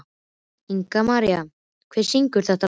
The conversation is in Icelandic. Ingimaría, hver syngur þetta lag?